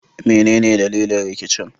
Menene dalilin rikicin?